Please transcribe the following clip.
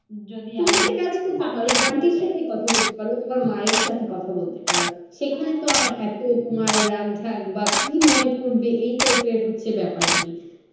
যদি আমি, তুমি একটা কাজ করতে পারো, আন্টির সাথে কথা বলতে পারো, তোমার মায়ের সাথে কথা বলতে পারো। সেখানে তো আর এত তোমার রাগ ঢাগ বা কি মনে করবে এইটাই তো এর হচ্ছে ব্যাপার নেই ।